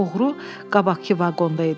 Oğru qabaqkı vaqonda idi.